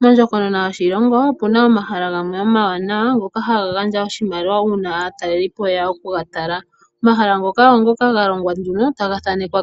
Mondjokonona yoshilongo omuna omahala gamwe omawanawa ngoka haga gandja oshimaliwa uuna aatalelipo yeya okugatalelapo. Omahala ngaka ogena omamanya nkoka kwathanekwa